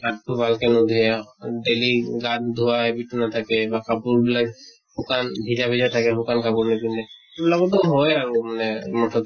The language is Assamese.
হাত টো ভালকে ন্ধুয়ে, daily গা ধোৱা habit নাথাকে, বা কাপোৰ বিলাক শুকান ভিজা ভিজা থাকে শুকান কাপোৰ নিপিন্ধে। সেইবিলাকতো হয় আৰু মানে মুঠ্তে